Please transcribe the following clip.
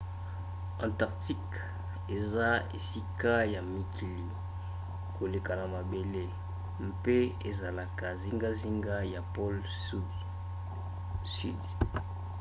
antarctique eza esika ya malili koleka na mabele mpe ezalaka zingazinga ya pole sudi